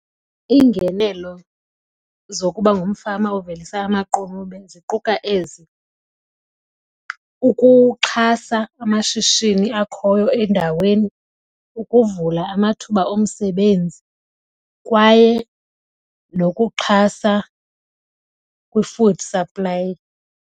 Iingenelo zokuba ngumfama ovelisa amaqunube ziquka ezi. Ukuxhasa amashishini akhoyo endaweni, ukuvula amathuba omsebenzi kwaye nokuxhasa kwi-food supply.